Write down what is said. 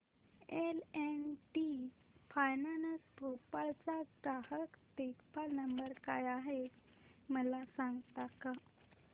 L and T finance Bhopal चा ग्राहक देखभाल नंबर काय आहे मला सांगता का